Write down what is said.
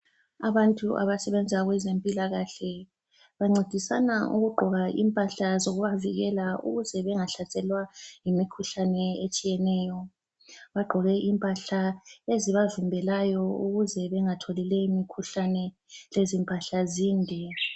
Abantu abasebenza kwezempilakahle bancedisana ukugqoka impahla zokubavikela ukuze bengahlaselwa yimikhuhlane etshiyeneyo. Bagqoke impahla ezibavimbelayo ukuze bengatholi leyi mikhuhlane. Lezi mpahla zinde.